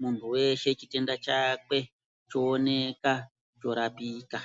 muntu weshe chitenda chakwe cho oneka cho rapika.